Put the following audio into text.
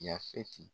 Yafeti